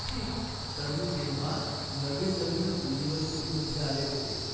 ठीक, तर मी तेव्हा नवीन नवीनच युनिवर्सिटीमध्ये आले होते.